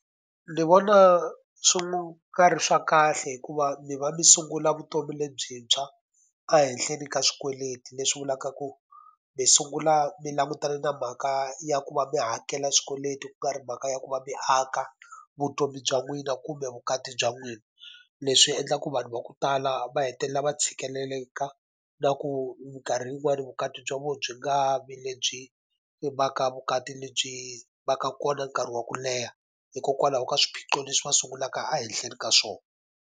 Ndzi vona swi nga ri swa kahle hikuva mi va mi sungula vutomi lebyintshwa ehenhleni ka swikweleti leswi vulaka ku mi sungula mi langutane na mhaka ya ku va mi hakela swikweleti ku nga ri mhaka ya ku va mi aka vutomi bya n'wina kumbe vukati bya n'wina. Leswi endlaka ku vanhu va ku tala va hetelela va tshikeleleka, na ku minkarhi yin'wani vukati bya vona byi nga vi lebyi va ka vukati lebyi va ka kona nkarhi wa ku leha. Hikokwalaho ka swiphiqo leswi va sungulaka a ehenhleni ka swona.